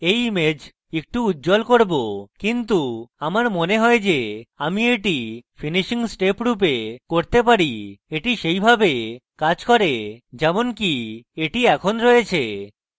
প্রথমে আমি এই image একটু উজ্জ্বল করব কিন্তু মনে হয় যে আমি এটি finishing steps রূপে করতে পারি এবং এটি সেইভাবে কাজ করে যেমনকি এটি এখন রয়েছে